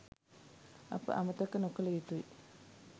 අප අමතක නොකළ යුතුයි